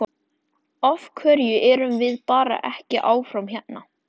Af hverju erum við bara ekki áfram hérna?